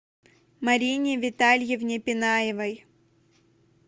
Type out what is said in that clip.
марине витальевне пинаевой